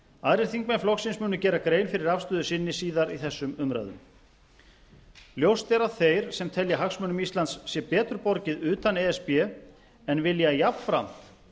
aðrir þingmenn flokksins munu gera grein fyrir afstöðu sinni síðar í þessum umræðum ljóst er að þeir sem telja að hagsmunum íslands sé betur borgið utan e s b en vilja jafnframt